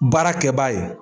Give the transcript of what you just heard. Baarakɛ b'a ye.